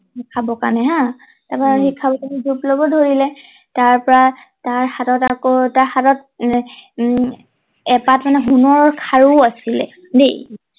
খাবৰ কাৰণে হা তাৰ পৰা সি খাবলে জোপ লব ধৰিলে তাৰ পৰা তাৰ হাতত আকৌ তাৰ হাতত উম এপাট মানে সোণৰ খাৰু আছিলে দেই